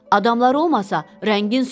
Adamlar olmasa, rəngin solar.